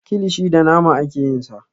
Kilishi da nama ake yin sa.